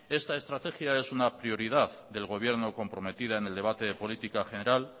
esta estrategia es una prioridad del gobierno comprometida en el debate de política general